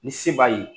Ni se b'a ye